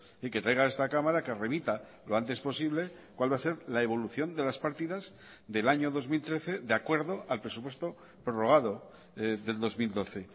y que traiga a esta cámara que remita lo antes posible cuál va a ser la evolución de las partidas del año dos mil trece de acuerdo al presupuesto prorrogado del dos mil doce